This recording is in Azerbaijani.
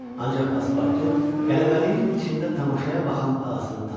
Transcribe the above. Ancaq Paspartu qələbəliyin içində tamaşaya baxan ağasını tanıdı.